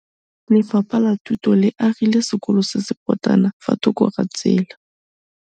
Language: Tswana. Lefapha la Thuto le agile sekôlô se se pôtlana fa thoko ga tsela.